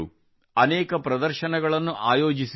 ಅನೇಕ ಪ್ರದರ್ಶನಗಳನ್ನು ಆಯೋಜಿಸಿದರು